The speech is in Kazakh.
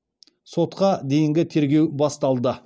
сотқа дейінгі тергеу басталды